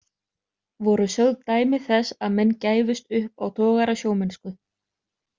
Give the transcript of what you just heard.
Voru sögð dæmi þess að menn gæfust upp á togarasjómennsku.